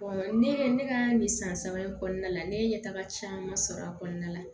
ne ye ne ka nin san saba in kɔnɔna la ne ye ɲɛ taga caman sɔrɔ a kɔnɔna la